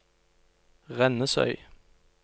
Rennesøy